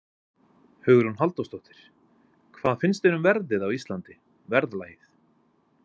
Hugrún Halldórsdóttir: Hvað finnst þér um verðið á Íslandi, verðlagið?